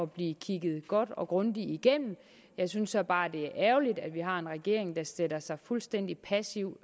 blive kigget godt og grundigt igennem jeg synes så bare at det er ærgerligt at vi har en regering der sætter sig fuldstændig passivt